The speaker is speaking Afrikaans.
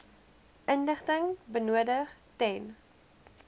inligting benodig ten